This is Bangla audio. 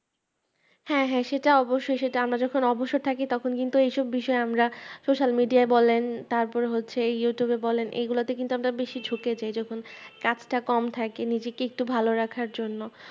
হ্যাঁ হ্যাঁ সেটা অবশই সেটা আমরা যখন অবসর থাকি তখনৰ কিন্তু এই সব বিষয়ে আমরা Social media বলেন তারপরে হচ্ছে YouTube বলেন এই গুলোতে কিন্তু আমরা বেশি ঝুকে যাই যখন কাজটা কম থাকে নিজেকে একটু ভালো রাখার জন্য